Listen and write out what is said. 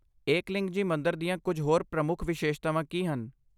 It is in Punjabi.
ਏਕਲਿੰਗਜੀ ਮੰਦਰ ਦੀਆਂ ਕੁਝ ਹੋਰ ਪ੍ਰਮੁੱਖ ਵਿਸ਼ੇਸ਼ਤਾਵਾਂ ਕੀ ਹਨ?